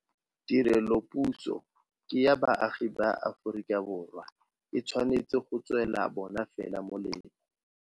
Tirelopuso ke ya baagi ba Aforika Borwa. E tshwanetse go tswela bona fela molemo.